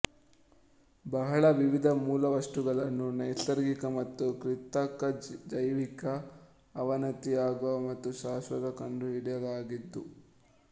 ಬಹಳ ವಿವಿಧ ಮೂಲವಸ್ತುಗಳನ್ನು ನೈಸರ್ಗಿಕ ಮತ್ತು ಕೃತಕ ಜೈವಿಕ ಅವನತಿಯಾಗುವ ಮತ್ತು ಶಾಶ್ವತ ಕಂಡುಹಿಡಿಯಲಾಗಿದೆ